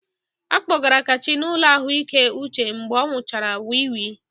A kpọgara Kachi n'ụlọ ahụike uche mgbe ọ nwụchara wii wii.